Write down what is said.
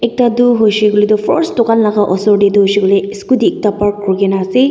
Ekta tu hoishe koile tu first tugan laka usor tetu hoishe koile scotty ekta parked kure kena ase.